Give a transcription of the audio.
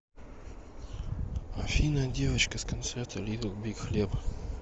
афина девочка с концерта литл биг хлеб